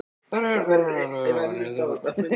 Þarf að kafa alveg ofan í þjálfun yngstu flokka?